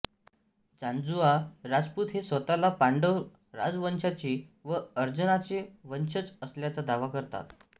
जांजुआ राजपूत हे स्वतःला पांडव राजवंशाचे व अर्जुनाचे वंशज असल्याचा दावा करतात